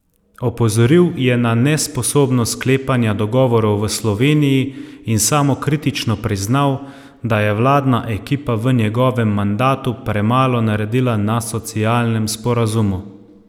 Opozoril je na nesposobnost sklepanja dogovorov v Sloveniji in samokritično priznal, da je vladna ekipa v njegovem mandatu premalo naredila na socialnem sporazumu.